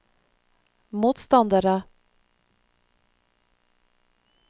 motstandere